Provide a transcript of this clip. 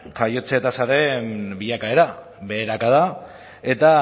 jaiotze tasaren bilakaera beherakada eta